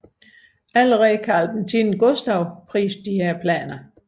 Allerede Karl X Gustav priste planerne